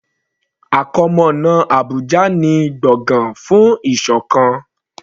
Àkọmọ̀nà Abùjá ni gbọ̀gán fún ìṣọ̀kan.